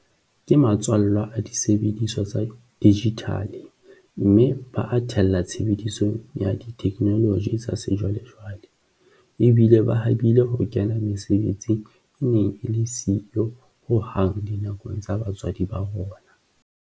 Ke matswallwa a disebediswa tsa dijithale mme ba a the lla tshebedisong ya ditheknoloji tsa sejwalejwale, ebile ba habile ho kena mesebetsing e neng e le siyo ho hang dinakong tsa batswadi ba bona.